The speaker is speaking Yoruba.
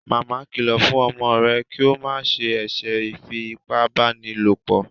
Màmá kìlọ fún ọmọ rẹ kio ma ṣe eṣe ifi ipá báni lọpọ